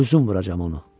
özüm vuracam onu.